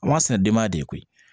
A b'a sɛnɛ denba de koyi